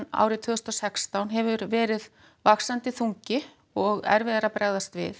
árið tvö þúsund og sextán hefur verið vaxandi þungi og erfiðara að bregðast við